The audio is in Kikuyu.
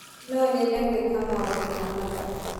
no nyende gwĩka maundu ma mathabu